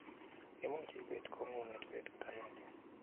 Imuch ibeet kong'unget betut agenge